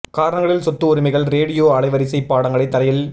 காரணங்களில் சொத்து உரிமைகள் ரேடியோ அலைவரிசை பாடங்களை தரையில்